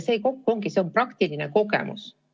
See kõik on andnud praktilise kogemuse.